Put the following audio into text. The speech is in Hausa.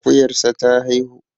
Akuyarsa ta haihu